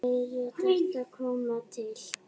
Fleiri þættir koma til.